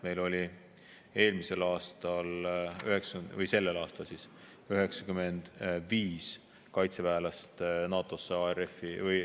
Meil oli sellel aastal antud NATO senisesse NRF-i üles 95 kaitseväelast.